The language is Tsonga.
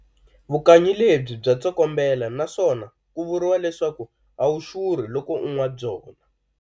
Vukanyi lebyi bya tsokombela naswona ku vuriwa leswaku a wu xurhi loko u nwa byona.